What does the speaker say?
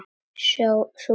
Sú gamla?